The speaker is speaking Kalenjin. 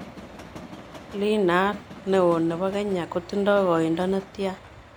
Iinaat neo ne po kenya kotindo koiindo netian